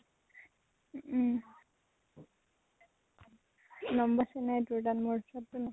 number আছে নে নাই তোৰ উচৰত, মোৰ উচৰতটো নাই।